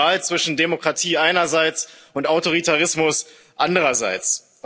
Es war die Wahl zwischen Demokratie einerseits und Autoritarismus andererseits.